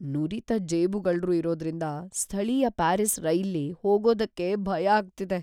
ನುರಿತ ಜೇಬುಗಳ್ರು ಇರೋದ್ರಿಂದ ಸ್ಥಳೀಯ ಪ್ಯಾರಿಸ್ ರೈಲ್ಲಿ ಹೋಗೋದಕ್ಕೆ ಭಯ ಆಗ್ತಿದೆ.